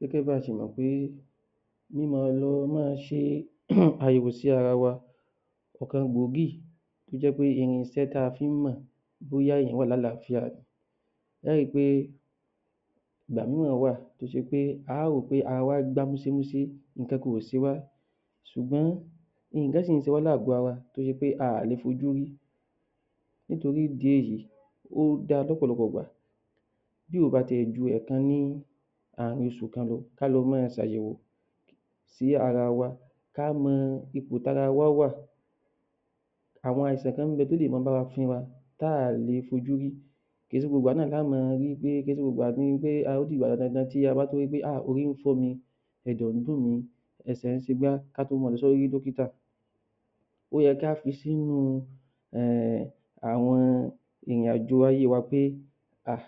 Gẹ́gẹ́ bí a ṣe mọ̀ pé mí máa lọ máa ṣe àyẹ̀wò sí ara wa ọ̀kan gbòógì ọ̀kan gbòógì tó jẹ́ pé irinṣẹ́ tií a fi ń mọ̀ bóyá èèyàn wà lálàáfíà ẹ ó ri pé ìgbà mìíràn wà tó ṣe pé a ó rò pé ara wa gbá múṣémúṣe nǹkankan ò ṣe wá ṣùgbọ́n nǹkan sì ń ṣe wá ní àgbò ara tó jẹ́ pé a ò lè fojú rí nítorí ìdí èyí ó da lọ́pọ̀lọpọ̀ ìgbà bí kò bá ti ẹ̀ ju ẹ̀ẹ̀kan ní ààrín oṣù kan kí a lọ máa ṣe àyẹ̀wò sí ara wa ká mọ ipò tí ara wa wà àwọn àìsàn kan ń bẹ̀ tó lè máa bá wa fínra tí a ò lè fojú rí kò ń ṣe gbogbo ìgbà náà la ó máa wí pé, kò ń ṣe gbogbo ìgbà tó ṣe pé ó dìgbà tí a bá ri pé a orí ń fọ́ mi ẹ̀dọ̀ ń dùn mí ẹsẹ̀ ń ṣe igbá kí a tó máa lọ sí dọ́kítà ó yẹ ká fi sínú um àwọn ìrìnàjò ayé wa pé ah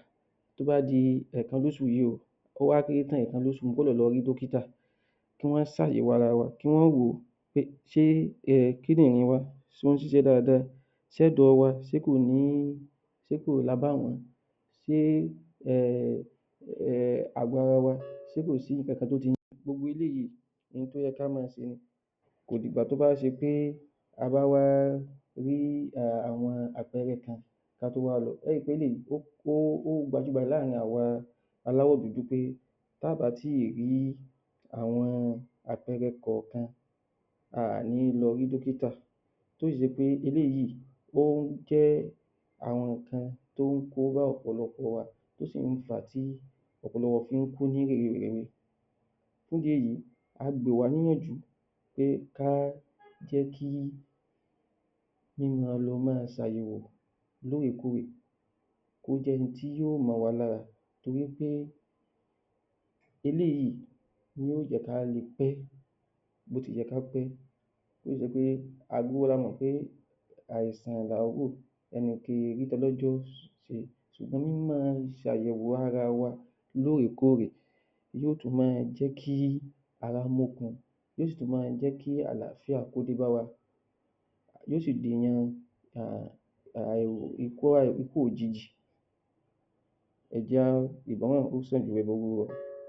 tó bá di ẹ̀ẹ̀kan lóṣù yìí o kó wá kéré tán ẹ̀ẹ̀kan lóṣù mo gbọ́dọ̀ lọ rí dọ́kítà kí wọ́n ṣe àyẹ̀wò ara wa, kí wọ́n wò pé ṣe kídìnrín wa ṣé ó ń ṣiṣẹ́ dáadáa ṣe ẹ̀dọ̀ wa ṣé kò ní ṣé kò lábàwọ́n ṣe um àgọ́ ara wa se kò sí nǹkan tó ti...gbogbo eléyìí nǹkan tó yẹ kí á máa ṣe ni kò dìgbà tó bá ṣe pé a bá wá rí àwọn àpẹẹrẹ kan ká tó wá lọ. A ó ri pé gbogbo eléhyìí ó gbajúgbajà láàrin àwọn aláwọ̀ dúdú pé tí a ò bá tíì rí àwọn àpẹẹrẹ kọ̀ọ̀kan a ò ní lọ rí dọ́kítà tó sì ṣe pé eléyìí ó jẹ́ àwọn nǹkan tó ń kó bá àwọn ọ̀pọlọpọ̀ wa tó sì ń fàá tí ọ̀pọ̀lọpọ̀ fi ń kú ní rèwerèwe fún ìdí èyí a gbà wá níyànjú pé ká jẹ́ kí mí máa lọ máa ṣe àyẹ̀wò lóòrèkóòrè kó jẹ́ oun tí yóò mọ́ wa lára torí pé eléyìí ni yó jẹ́ ká le pé bó ti yẹ ká pé tó ṣe pé gbogbo wa la mọ̀ pé àìsàn làá wò ẹnìkan kì í rí tọlọ́jọ́ ṣùgbọ́n nínú ìṣàyẹ̀wò ara wa lóòrèkóòrè yóò tún máa jẹ́ kí ara mókun yóò tún máa jẹ́ kí àláfíà kó dé bá wa yóò sì dènà um ikú òjijì ẹ jẹ́ á...ìgbọ́ràn ó sàn ju ẹbọ rúrú lọ